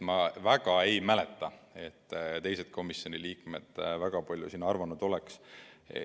Ma ei mäleta, et teised komisjoni liikmed väga palju midagi arvanud oleks.